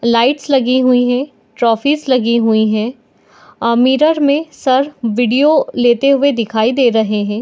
Lights लगी हुई है ट्रॉफिस लगी हुई है आ मिरर में सर वीडियो लेते हुए दिखाई दे रहे है।